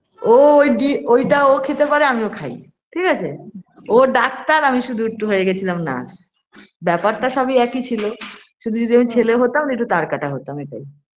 ও ওই বি ওইটা খেতে পারে আমিও খাই ঠিকাছে ও doctor আমি শুধু একটু হয়ে গেছিলাম nurse ব্যাপারটা সবই একি ছিলো শুধু যদি আমি ছেলে হতাম একটু তারকাটা হতাম এটাই